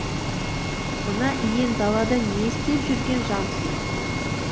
мына иен далада не істеп жүрген жансың